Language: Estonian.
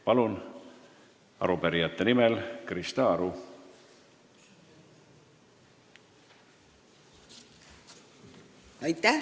Palun, arupärijate nimel Krista Aru!